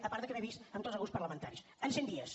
a part que m’he vist amb tots els grups parlamentaris en cent dies